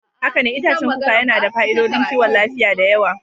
Haka ne, itacen kuka yana da fa'idodin kiwon lafiya da yawa.